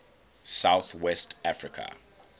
south west africa